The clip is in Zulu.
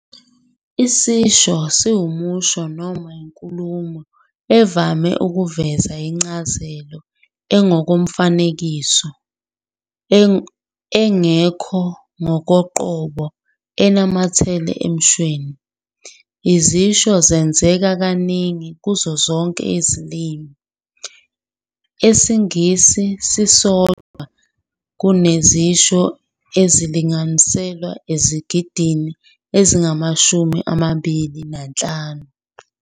Isisho siwumusho noma inkulumo evame ukuveza incazelo engokomfanekiso, engekho ngokoqobo enamathele emshweni. Izisho zenzeka kaningi kuzo zonke izilimi, esiNgisi sisodwa kunezisho ezilinganiselwa ezigidini ezingamashumi amabili nanhlanu.